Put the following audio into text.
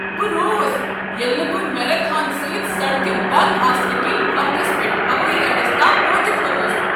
بہ رووس ییٚلہ نہٕ بہٕ میراتھن سۭتۍ سڑکہٕ بنٛد آسنہٕ کنۍ وقتس پیٹھ ہوٲیی اڈس تام وٲتتھ ہیوٚکس۔